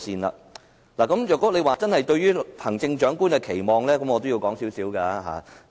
若大家真要討論對行政長官的期望，我可稍微討論一下。